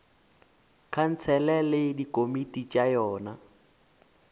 khansele le dikomiti tša yona